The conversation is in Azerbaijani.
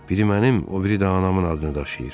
Biri mənim, o biri də anamın adını daşıyır.